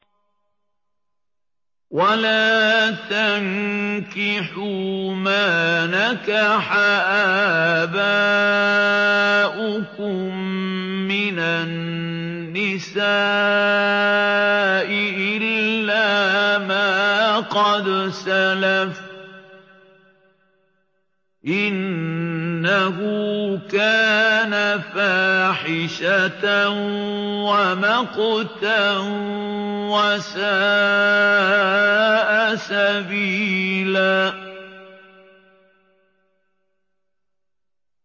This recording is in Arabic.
وَلَا تَنكِحُوا مَا نَكَحَ آبَاؤُكُم مِّنَ النِّسَاءِ إِلَّا مَا قَدْ سَلَفَ ۚ إِنَّهُ كَانَ فَاحِشَةً وَمَقْتًا وَسَاءَ سَبِيلًا